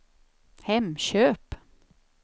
Hemköp